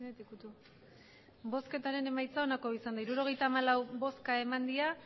emandako botoak hirurogeita hamalau bai